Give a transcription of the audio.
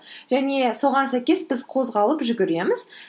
және соған сәйкес біз қозғалып жүгіреміз